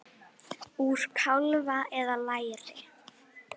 Úr kálfa eða læri!